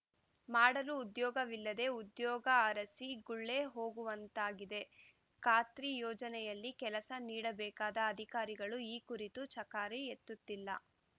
ಮಾಡಲು ಉದ್ಯೋಗವಿಲ್ಲದೆ ಉದ್ಯೋಗ ಅರಸಿ ಗುಳೆ ಹೋಗುವಂತಾಗಿದೆ ಖಾತ್ರಿ ಯೋಜನೆಯಲ್ಲಿ ಕೆಲಸ ನೀಡಬೇಕಾದ ಅಧಿಕಾರಿಗಳು ಈ ಕುರಿತು ಚಕಾರಿ ಎತ್ತುತ್ತಿಲ್ಲ